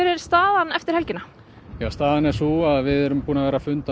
er staðan eftir helgina staðan er sú að við erum búin að vera funda